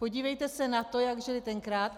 Podívejte se na to, jak žili tenkrát.